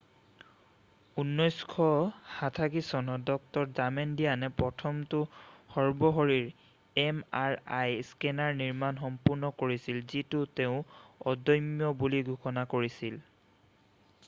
1977 চনত ডাঃ ডামেডিয়ানে প্ৰথমটো সৰ্বশৰীৰ এম আৰ আই স্কেনাৰৰ নিৰ্মাণ সম্পূৰ্ণ কৰিছিল যিটোক তেওঁ অদম্য বুলি ঘোষণা কৰিছিল